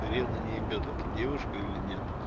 наверное не ебет а ты девушка или нет